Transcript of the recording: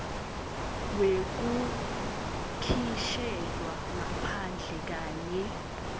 wekukhishelwa ngaphandle kanye